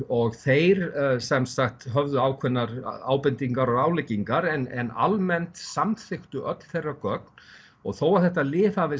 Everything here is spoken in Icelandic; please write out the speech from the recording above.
og þeir höfðu ákveðnar ábendingar og ráðleggingar en almennt samþykktu öll þeirra gögn þó að þetta lyf hafi